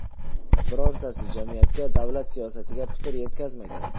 Birortasi jamiyatga, davlat siyosatiga putur yetkazmagan.